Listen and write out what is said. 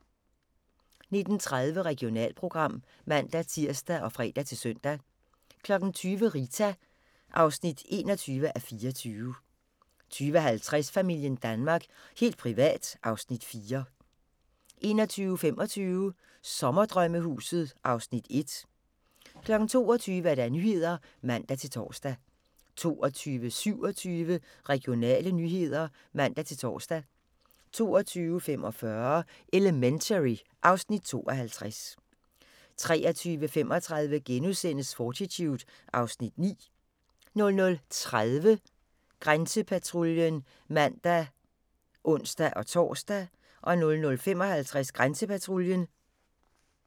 19:30: Regionalprogram (man-tir og fre-søn) 20:00: Rita (21:24) 20:50: Familien Danmark – helt privat (Afs. 4) 21:25: Sommerdrømmehuset (Afs. 1) 22:00: Nyhederne (man-tor) 22:27: Regionale nyheder (man-tor) 22:45: Elementary (Afs. 52) 23:35: Fortitude (Afs. 9)* 00:30: Grænsepatruljen (man og ons-tor) 00:55: Grænsepatruljen